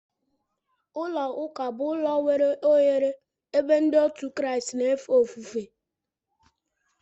Ụlọ ụka bu ụlọ nwere oghere ebe ndi otu kraist na efe ofufe.